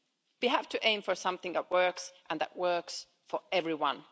We have to aim for something that works, and that works for everyone.